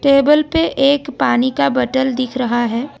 Table पे एक पानी का बॉटल दिख रहा है।